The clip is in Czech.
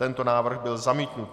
Tento návrh byl zamítnut.